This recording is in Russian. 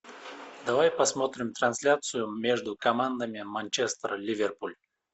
давай посмотрим трансляцию между командами манчестер ливерпуль